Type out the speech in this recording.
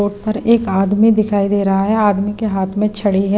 Boat पर एक आदमी दिखाई दे रहा है आदमी के हाथ में छड़ी है।